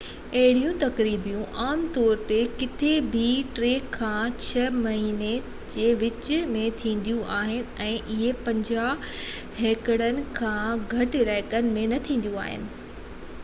اهي تقريبون عام طور تي ڪٿي بہ ٽي کان ڇهہ مهينن جي وچ ۾ ٿينديون آهن ۽ اهي 50 هيڪٽرن کان گهٽ علائقن ۾ نہ ٿينديون آهن